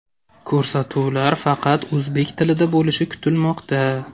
Ko‘rsatuvlar faqat o‘zbek tilida bo‘lishi kutilmoqda.